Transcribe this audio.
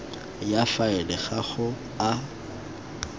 ya faele ga go a